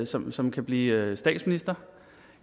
som som kan blive statsminister